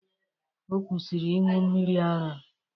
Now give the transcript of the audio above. Ọ kwụsịrị ịṅụ mmiri ara.